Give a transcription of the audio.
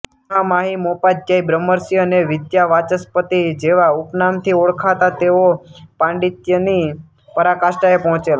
મહામાહિમોપાધ્યાય બ્રહ્મર્ષિ અને વિદ્યાવાચસ્પતિ જેવા ઉપનામથી ઓળખાતા તેઓ પાંડિત્યની પરાકાષ્ટાએ પહોચેલા